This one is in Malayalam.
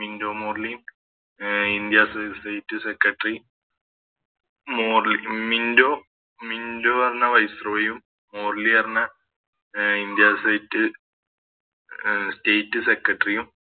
മിന്റോ മോർലിയും ഇന്ത്യ State secretary മോർലി അഹ് മിന്റോ മിന്റോ പറഞ്ഞ Viceroy യും മോർലി പറഞ്ഞ India state secretary യും